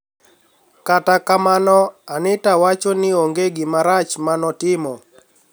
Kata kamano, Anitawacho nii onige gima rach ma notimo.